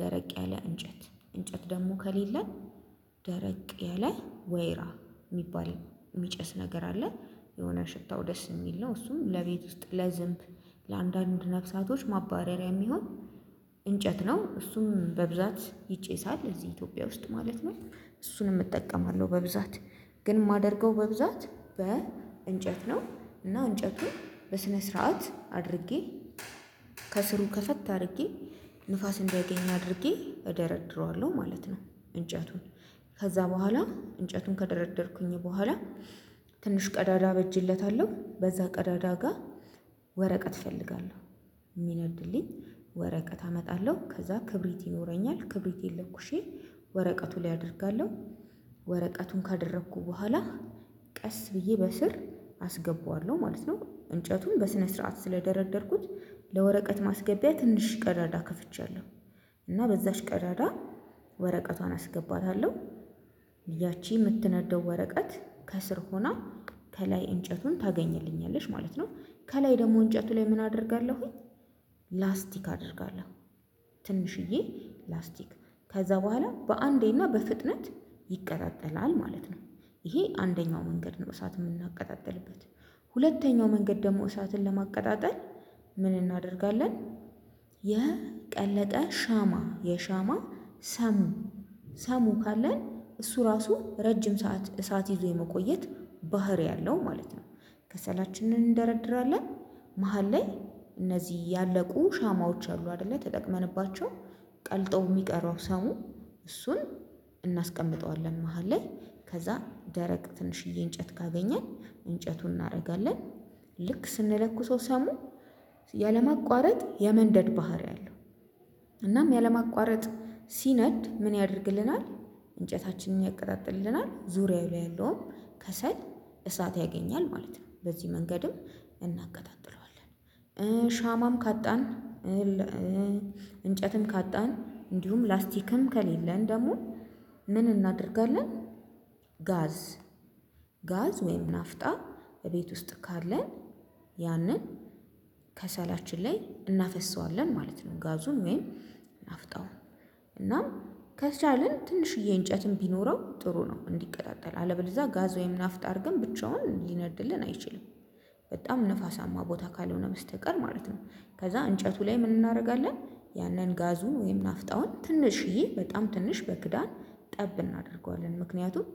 ደረቅ ያለ እንጨት እንጨት ደሞ ከሌለን ደረቅ ያለ ወይራ ሚባል ሚጨስ ነገር አለ የሆነ ሽታው ደስ የሚል ነው። እሱም ለቤት ውስጥ ለዝንብ ለአንዳንድ ነፍሳቶች ማባረሪያ ሚሆን እንጨት ነው እሱም በብዛት ይጨሳል እዚ ኢትዮጵያ ውስጥ ማለት ነው። እሱንም እጠቀማለው በብዛት ግን ማደርገው በብዛት በ እንጨት ነው። እና እንጨቱን በስነ ስርዓት አድርጌ ከስሩ ከፈት አርጌ ንፋስ እንዲያገኝ አድርጌ እደረድረዋለው ማለት ነው። እንጨቱን ከዛ በኋላ እንጨቱን ከደረደርኩኝ በኋላ ትንሽ ቀዳዳ አበጅለታለው በዛ ቀዳዳ ጋር ወረቀት እፈልጋለው ሚነድልኝ ወረቀት አመጣለው ከዛ ክብሪት ይኖረኛል ክብሪቴን ለኩሼ ወረቀቱ ላይ አደርጋለው ወረቀቱን ካደረኩ በኋላ ቀስ ብዬ በስር አስገባዋለው ማለት ነው። እንጨቱን በስነ ስርዓት ስለደረደርኩት ለወረቀት ማስገቢያ ትንሽ ቀዳዳ ከፍቻለው እና በዛች ቀዳዳ ወረቀቷን አስገባታለው ያቺ ምትነደው ወረቀት ከስር ሆና ከላይ እንጨቱን ታገኝልኛለች ማለት ነው። ከላይ ደሞ እንጨቱ ላይ ምን አደርጋለሁኝ? ላስቲክ አደርጋለው ትንሽዬ ላስቲክ ከዛ በኋላ በአንዴና በፍጥነት ይቀጣጠላል ማለት ነው። ይሄ አንደኛው መንገድ ነው እሳት ምናቀጣጥልበት። ሁለተኛው መንገድ ደሞ እሳትን ለማቀጣጠል ምን እናደርጋለን? የቀለጠ ሻማ የሻማ ሰሙ ሰሙ ካለን እሱ ራሱ ረጅም ሰዓት እሳት ይዞ የመቆየት ባህሪ አለው ማለት ነው። ከሰላችንን እንደረድራለን መሃል ላይ እነዚ ያለቁ ሻማዎች አሉ አደለ ተጠቅመንባቸው ቀልጠው ሚቀረው ሰው እሱን እናስቀምጠዋለን መሃል ላይ ከዛ ደረቅ ትንሽዬ እንጨት ካገኘን እንጨቱን እናደርጋለን ልክ ስንለኩሰው ሰሙ ያለማቋረጥ የመንደድ ባህሪ አለው። እናም ያለማቋረጥ ሲነድ ምን ያደርግልናል? እንጨታችንን ያቀጣጥልልናል ዙሪያው ላይ ያለውን ከሰል እሳት ያገኛል ማለት ነው። በዚህ መንገድም እናቀጣጥለዋለን። ሻማም ካጣን እንጨትም ካጣን እንዲሁም ላስቲክም ከሌለን ደሞ ምን እናደርጋለን? ጋዝ ጋዝ ወይም ናፍጣ እቤት ውስጥ ካለን ያንን ከሰላችን ላይ እናፈሰዋለን ማለት ነው። ጋዙም ወይም ናፍጣው እናም ከቻልን ትንሽዬ እንጨትም ቢኖረው ጥሩ ነው እንዲቀጣጠል አለበለዛ ጋዝ ወይም ናፍጣ አርገን ብቻውን ሊነድልን አይችልም። በጣም ንፋሳማ ቦታ ካልሆነ በስተቀር ማለት ነው። ከዛ እንጨቱ ላይ ምን እናረጋለን ያንን ጋዙን ወይም ናፍጣውን ትንሽዬ በጣም ትንሽ በክዳን ጠብ እናደርገዋለን ምክንያቱም